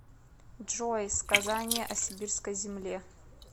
джой сказание о сибирской земле